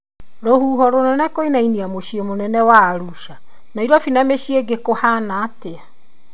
Rũhuho rũnene kwinainia mũcĩi mũnene wa Arusha, Nairobi na mĩciĩ ĩngi kũhana atĩa?